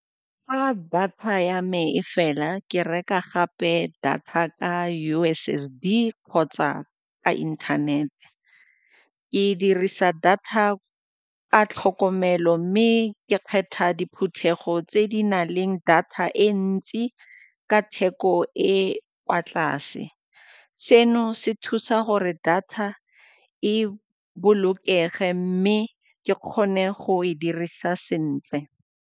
Fa data ya me e fela ke reka gape data ka U_S_S_D kgotsa ka inthanete. Ke dirisa data a tlhokomelo mme ke kgetha diphuthego tse di na leng data e ntsi ka theko e E kwa tlase. Seno se thusa gore data e bolokege mme ke kgone go e dirisa sentle.